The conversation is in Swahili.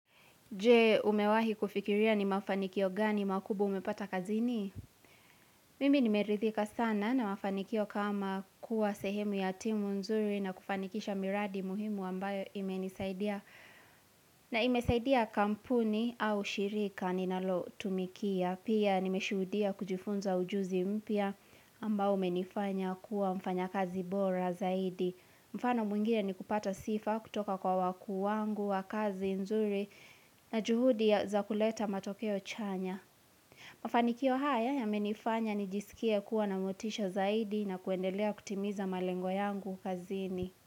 Je umewahi kufikiria ni mafanikio gani makubwa umepata kazini? Mimi nimerithika sana na mafanikio kama kuwa sehemu ya timu nzuri na kufanikisha miradi muhimu ambayo ime nisaidia. Na ime saidia kampuni au shirika ninalo tumikia. Pia nimeshuhudia kujifunza ujuzi mpya ambao menifanya kuwa mfanya kazi bora zaidi. Mfano mwingine ni kupata sifa kutoka kwa wakuu wangu, wa kazi, nzuri na juhudi ya za kuleta matokeo chanya. Mafanikio haya yamenifanya nijisikie kuwa na motisha zaidi na kuendelea kutimiza malengo yangu kazini.